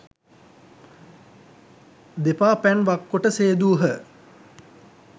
දෙපා පැන් වක්කොට සේදූහ.